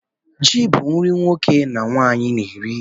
Ji bu nri nwoke na nwanyi na-eri